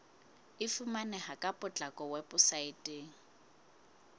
e fumaneha ka potlako weposaeteng